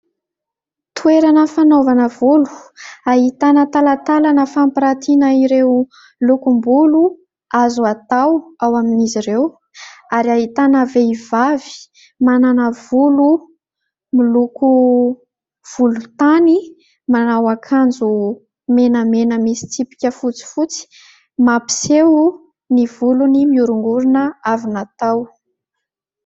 Toerana fanaovana volo ahitana talatalana fampirantiana ireo lokom- bolo azo atao ao amin'izy ireo ; ary ahitana vehivavy manana volo miloko volontany, manao an-kanjo menamena misy tsipika fotsifotsy mampiseho ny volony miorongorona avy natao.